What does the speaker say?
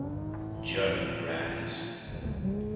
german brands